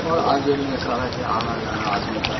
और आगे में सड़क है आना जाना आदमी का--